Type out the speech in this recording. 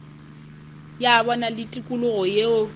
ya bona le tikologo yeo